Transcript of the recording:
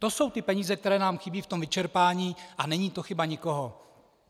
To jsou ty peníze, které nám chybí v tom vyčerpání, a není to chyba nikoho.